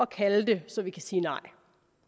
kalde det så vi kan sige nej